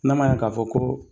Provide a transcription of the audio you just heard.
N'a ma ɲɛ k'a fɔ ko